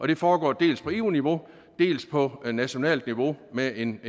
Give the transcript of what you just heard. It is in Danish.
det foregår dels på eu niveau dels på nationalt niveau med en